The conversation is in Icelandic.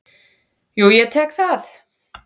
Jú, ég tek það.